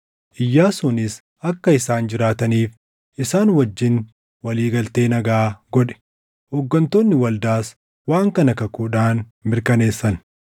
Iyyaasuunis akka isaan jiraataniif isaan wajjin walii galtee nagaa godhe; hooggantoonni waldaas waan kana kakuudhaan mirkaneessan.